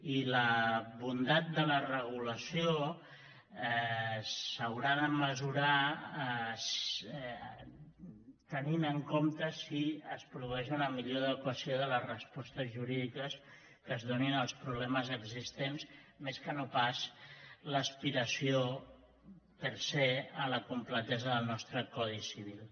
i la bondat de la regulació s’haurà de mesurar tenint en compte si es produeix una millor adequació de les respostes jurídiques que es donin als problemes existents més que no pas l’aspiració per sea la completesa del nostre codi civil